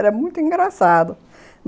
Era muito engraçado.